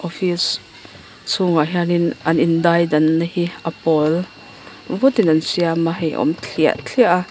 chhungah hian in an indaidanna hi a pawl vutin an siam a hei awm thliah thliah a.